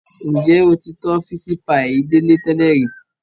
Njẹ o ti tọ́ fisi paii Dele tẹlẹ ri?